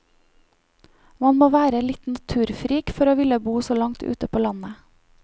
Man må være litt naturfrik for å ville bo så langt ute på landet.